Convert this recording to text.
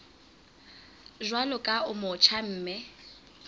jwalo ka o motjha mme